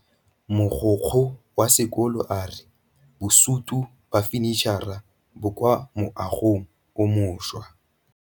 Mogokgo wa sekolo a re bosutô ba fanitšhara bo kwa moagong o mošwa.